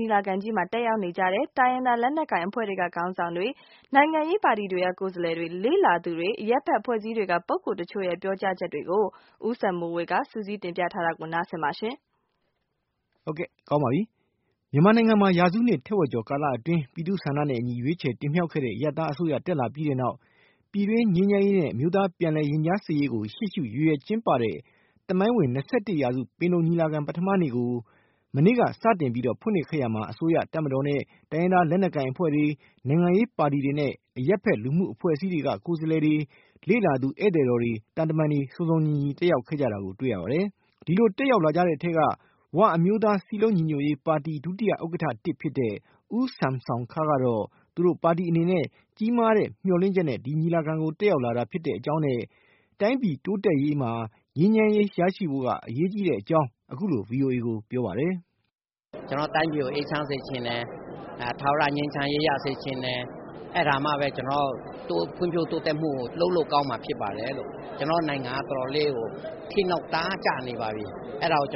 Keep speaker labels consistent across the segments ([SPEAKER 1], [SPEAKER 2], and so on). [SPEAKER 1] ညီလာခံကြီးမှာ တက်ရောက်နေကြတဲ့ တိုင်းရင်းသား လက်နက်ကိုင်အဖွဲ့တွေက ခေါင်းဆောင်တွေ၊ နိုင်ငံရေးပါတီတွေက ကိုယ်စားလှယ်တွေ၊ လေ့လာသူတွေ၊ အရပ်ဘက် အဖွဲ့အစည်းတွေက ပုဂ္ဂိုလ်တချို့ရဲ့ ပြောကြားချက်တွေကို ဦးစံမိုေ၀ က စုစည်း တင်ပြပေးထားပါတယ်။ မ
[SPEAKER 2] ြန်မာနိုင်ငံမှာ ရာစုနှစ်ထက်ဝက်ကျော် ကာလအတွင်း ပြည်သူ့ဆန္ဒနဲ့အညီ ရွေးချယ်တင်မြောက်ခဲ့တဲ့ အရပ်သားအစိုးရ တက်လာပြီးတဲ့နောက် ပြည်တွင်းငြိမ်းချမ်းရေးနဲ့ အမျိုးသားပြန်လည်ရင်ကြားစေ့ရေးကို ရှေ့ရှု ရည်ရွယ်ကျင်းပတဲ့ သမိုင်းဝင် ၂၁ ရာစု ပင်လုံညီလာခံကြီးကို ပထမနေ့ကို မနေ့က စတင်ပြီး ဖွင့်လှစ်ခဲ့ရာမှာ အစိုးရ၊ တပ်မတော်နဲ့ တိုင်းရင်းသား လက်နက်ကိုင် အဖွဲ့တွေ၊ နိုင်ငံရေးပါတီတွေနဲ့ အရပ်ဖက်လူ့အဖွဲ့ အစည်းတွေက ကိုယ်စားလှယ်တွေ၊ လေ့လာသူ ဧည့်သည်တော်တွေ သံတမန်တွေ စုံစုံညီညီတက်ရောက်ခဲ့ကြတာကို တွေ့ရပါတယ်။ ဒီလိုတက်ရောက်လာကြတဲ့အထဲက “ဝ” အမျိုးသား စည်းလုံးညီညွတ်ရေးပါတီ ဒုတိယဥက္ကဌ ဖြစ်တဲ့ ဦးဆမ်ဆောင်းခါးကတော့ သူတို့ပါတီအနေနဲ့ ကြီးမားတဲ့ မျှော်လင့်ချက်နဲ့ ညီလာခံကို တက်ရောက်လာတာ ဖြစ်တဲ့အကြောင်းနဲ့ တိုင်းပြည်တိုးတက်ရေးမှာ ငြိမ်းချမ်းရေးရှိဖို့ အရေးကြီးကြောင်း အခုလို VOA ကို ပြောပါတယ်။ “ကျနော်တို့တိုင်းပြည်ကို အေးချမ်းစေချင်တယ်။ ထာဝရငြိမ်းချမ်းရေး ရစေချင်တယ်။ အဲဒါမှပဲ ကျနော်တို့ ဖွံ့ဖြိုးတိုးတက်မှုကို လုပ်ဆောင်လို့ကောင်းမှာ ဖြစ်ပါတယ်။ ကျနော်တို့နိုင်ငံက တော်တော်လေး ကို ခေတ်နောက် တအားကို ကျနေပါပြီ။ အဲဒါကို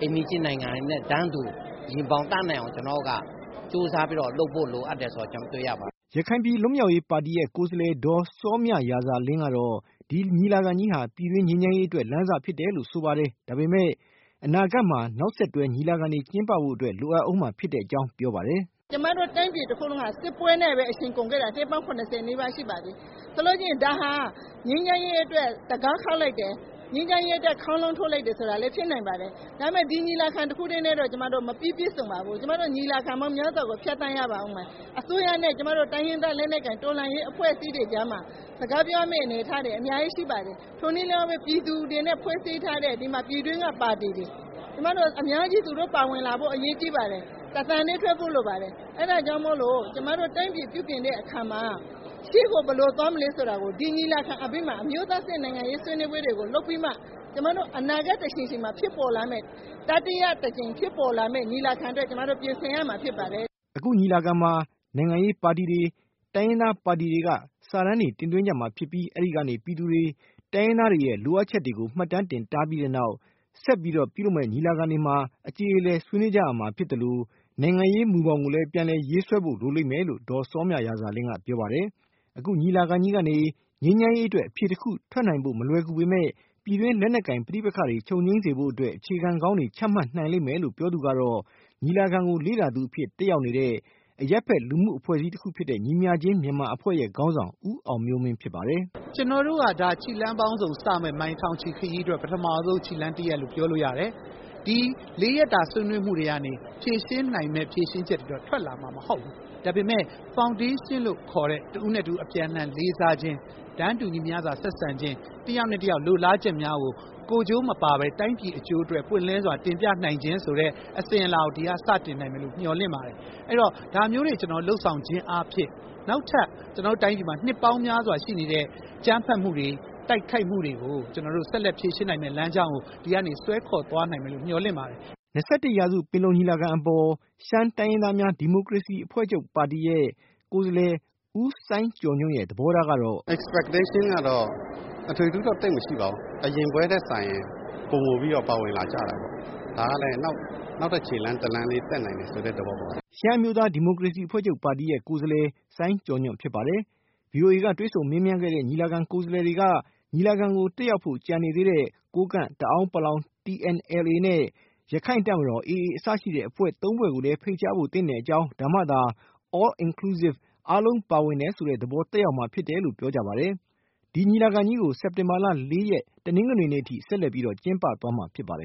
[SPEAKER 2] အိမ်နီးချင်းနိုင်ငံတွေနဲ့ တန်းတူ ရင်ဘောင်တန်းနိုင်အောင် ကျနော်တို့က ကြိုးစားပြီးတော့ လုပ်ဖို့ လိုအပ်တယ်ဆိုတာ တွေ့ရပါတယ်။” ရခိုင်ပြည် လွတ်မြောက်ရေးပါတီ ရဲ့ ကိုယ်စားလှယ် ဒေါ်စောမြရာဇာလင်း ကတော့ ဒီညီလာခံကြီးဟာ ပြည်တွင်း ငြိမ်းချမ်းရေးအတွက် လမ်းစဖြစ်တယ်လို့ဆိုပါတယ်၊ ဒါပေမယ့် အနာဂတ်မှာ နောက်ဆက်တွဲ ညီလာခံတွေ ကျင်းပဖို့ လိုအပ်အုံးမှာ ဖြစ်ကြောင်းပြောပါတယ်။
[SPEAKER 1] “ကျမတို့ တိုင်းပြည် တခုလုံးဟာ စစ်ပွဲနဲ့ပဲ အချိန်ကုန်ခဲ့တာ နှစ်ပေါင်း ၇၀ နီးပါးရှိပါပြီ။ ဒါဟာ ငြိမ်းချမ်းရေးအတွက် တံခါးခေါက်လိုက်တယ်။ ငြိမ်းချမ်းရေးအတွက် ခေါင်းလောင်းထိုးလိုက်တယ် ဆိုတာလည်း ဖြစ်နိုင်ပါတယ်။ ဒါပေမဲ့ ဒီညီလာခံတခုတည်းနဲ့တော့ ကျမတို့ မပြီးပြည့်စုံပါဘူး။ ကျမတို့ ညီလာခံမြောက်များစွာကို ဖြတ်သန်းရပါဦးမယ်။ အစိုးရနဲ့ တိုင်းရင်းသားလက်နက်ကိုင် တော်လှန်ရေးအဖွဲ့အစည်းတွေကြားမှာ စကားပြောရမယ့်အနေအထားတွေ အများကြီး ရှိပါတယ်။ ထိုနည်းလည်းကောင်းပဲ ပြည်သူတွေနဲ့ ဖွဲ့စည်းထားတဲ့ ပြည်တွင်းက ပါတီတွေ၊ အများကြီး သူတို့ ပါဝင်လာဖို့ အရေးကြီးပါတယ်။ တသံတည်းထွက်ဖို့ လိုပါတယ်။ အဲဒါကြောင့်မို့လို့ ကျမတို့ တိုင်းပြည် ပြုပြင်တဲ့အခါမှာ ရှေ့ကို ဘယ်လိုသွားမလဲဆိုတာကို ဒီညီလာခံအပြီးမှာ အမျိုးသားအဆင့် နိုင်ငံရေး ဆွေးနွေးပွဲတွေကို လုပ်ပြီးမှ အနာဂတ်တချိန်ချိန်မှာ ဖြစ်ပေါ်လာမယ့် ညီလာခံအတွက် ကျမတို့ ပြင်ဆင်ရမှာ ဖြစ်ပါတယ်။
[SPEAKER 2] ” အခုညီလာခံမှာ နိုင်ငံရေးပါတီတွေ တိုင်းရင်းသားပါတီတွေက စာတမ်းတွေ တင်သွင်းကြမှာဖြစ်ပြီး အဲဒီကနေ ပြည်သူတွေ တိုင်းရင်းသားတွေရဲ့ လိုအပ်ချက်တွေကို မှတ်တမ်းတင်ထားပြီး နောက်ဆက်တွဲညီလာခံတွေမှာ အကျေလည်ဆွေးနွေး ကြရမှာဖြစ်သလို၊ နိုင်ငံရေးမူဘောင်ကိုလည်း ပြန်လည်ရေးဆွဲဖို့ လိုလိမ့်မယ်လို့ ဒေါ်စောမြရာဇာလင်း ကပြောပါတယ်။ အခုညီလာခံကြီးကနေ ငြိမ်းချမ်းအတွက် အဖြေတခုထွက်နိုင်ဖို့ မလွယ်ကူပေမဲ့ ပြည်တွင်း လက်နက်ကိုင် ပဋိပက္ခတွေ ချုပ်ငြိမ်းစေဖို့ အခြေခံကောင်းတွေ ချမှတ်နိုင်လိမ့်မယ်လို့ ပြောသူကတော့ ညီလာခံကို လေ့လာသူအဖြစ်တက်ရောက် နေတဲ့ အရပ်ဖက်လူမှုအဖွဲ့အစည်းတခုဖြစ်တဲ့ ညီမျှခြင်း မြန်မာအဖွဲ့ ခေါင်းဆောင် ဦးအောင်မျိုးမင်းဖြစ်ပါတယ်။
[SPEAKER 3] “ကျနော်တို့က ဒါ ခြေလှမ်းပေါင်းစုံ စမယ့် မိုင်ထောင်ချီခရီးအတွက် ပထမဆုံး ခြေလှမ်းတရပ်လို့ ပြောလို့ရတယ်။ ဒီ ၄ ရက်တာ ဆွေးနွေးမှုတွေကနေ ဖြေရှင်းနိုင်မယ့် ဖြေရှင်းချက်တွေတော့ ထွက်လာမှာ မဟုတ်ဘူး။ ဒါပေမဲ့ ဖောင်ဒေးရှင်းလို့ခေါ်တဲ့ တဦးနဲ့တဦး အပြန်အလှန် လေးစားခြင်း၊ တန်းတူညီမျှသာ ဆက်ဆံခြင်း၊ တယောက်နဲ့တယောက် လိုလားချက်များကို ကိုယ်ကျိုးမပါဘဲ တိုင်းပြည်အကျိုးအတွက် ပွင့်လင်းစွာ တင်ပြနိုင်ခြင်းဆိုတဲ့ အစဉ်အလာကို ဒီက စတင်နိုင်မယ်လို့ မျှော်လင့်ပါတယ်။ အဲတော့ ဒါမျိုးတွေ ကျနော်တို့ လုပ်ဆောင်ခြင်းအားဖြင့် နောက်ထပ် ကျနော်တို့တိုင်းပြည်မှာ နှစ်ပေါင်းများစွာရှိနေတဲ့ အကြမ်းဖက်မှုတွေ၊ တိုက်ခိုက်မှုတွေကို ကျနော်တို့ ဆက်လက် ဖြေရှင်းနိုင်မယ့်လမ်းကြောင်းကို ဒီကနေ ဆွဲခေါ်သွားနိုင်မယ်လို့ မျှော်လင့်ပါတယ်။”
[SPEAKER 2] ၂၁ ရာစု ပင်လုံ ညီလာခံနဲ့ ပတ်သက်ပြီး ရှမ်းတိုင်းရင်းသားများ ဒီမိုကရေစီအဖွဲ့ချုပ် က ဦးစိုင်းကျော်ညွန့်ရဲ့ သဘော
[SPEAKER 3] ထားကတော့ - “မျှော်လင့်ချက်ကတော့ အထွေအထူးတော့ သိပ်မရှိပါဘူး။ အရင်ပွဲနဲ့စာရင် ပိုမိုပြီးတော့ ပါဝင်လာကြတာပေါ့။ ဒါကလည်း နောက်ထပ် ခြေလှမ်းတလှမ်း တက်နိုင်တယ်ဆိုတဲ့သဘောပေါ့။
[SPEAKER 2] ” ရှမ်းအမျိုးသား ဒီမိုကရေစီအဖွဲ့ချုပ်ပါတီရဲ့ ကိုယ်စားလှယ် စိုင်းကျော်ညွန့်ဖြစ်ပါတယ်။ VOA က တွေ့ဆုံမေးမြန်းခဲ့တဲ့ ညီလာခံ ကိုယ်စားလှယ်တွေက ညီလာခံကို တက်ရောက်ဖို့ ကျန်နေတဲ့ ကိုးကန့်၊ တအာင်းပလောင် TNLA နဲ့ ရခိုင့်တပ်မတော် AA စတဲ့ အဖွဲ့ ၃ ဖွဲ့ ကိုလည်း ဖိတ်ကြားဖို့ သင့်ကြောင်း ဒါမှသာ all-inclusive အားလုံး ပါဝင်တယ်ဆိုတဲ့ သဘောသက်ရောက်မှာ ဖြစ်တယ်လို့ ပြောကြပါတယ်။ ဒီညီလာခံကြီးကို စက်တင်ဘာလ ရက် တနင်္ဂနွေနေ့အထိ ဆက်လက် ကျင်းပသွားမှာ ဖြစ်ပါတယ်